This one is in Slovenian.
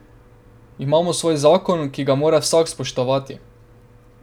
Imamo svoj zakon, ki ga mora vsak spoštovati.